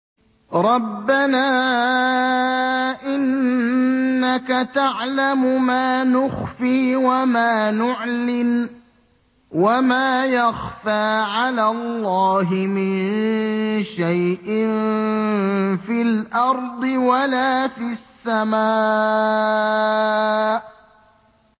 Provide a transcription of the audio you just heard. رَبَّنَا إِنَّكَ تَعْلَمُ مَا نُخْفِي وَمَا نُعْلِنُ ۗ وَمَا يَخْفَىٰ عَلَى اللَّهِ مِن شَيْءٍ فِي الْأَرْضِ وَلَا فِي السَّمَاءِ